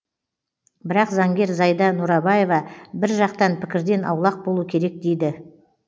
бірақ заңгер зайда нұрабаева бір жақтан пікірден аулақ болу керек дейді